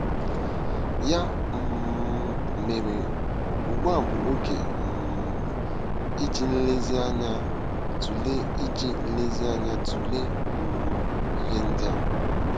Ya um mere, ugbu a bụ oge um iji nlezianya tụlee iji nlezianya tụlee um ihe ndị a.